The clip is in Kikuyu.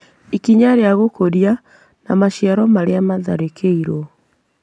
Ikinya rĩa gũkũria na maciaro marĩa matharĩkĩirwo